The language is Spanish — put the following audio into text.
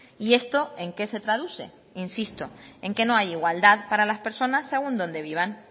y esto en qué se traduce insisto en que no hay igualdad para las personas según donde vivan